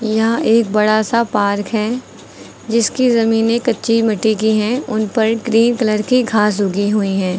यह एक बड़ा सा पार्क है जिसकी जमीने कच्ची मिट्टी की हैं उन पर ग्रीन कलर की घास उगी हुई है।